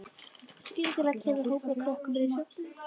Skyndilega kemur hópur af krökkum inn í sjoppuna.